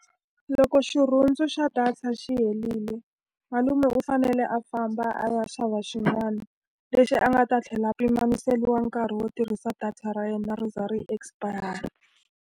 Loko xirhundzu xa data xi herile malume u fanele a famba a ya xava xin'wana, lexi a nga ta tlhela pimeriwa nkarhi wo tirhisa data ra yona ri za ri expire-ra.